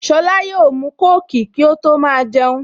Sola yóò mu kóòkì kí ó tó máa jẹun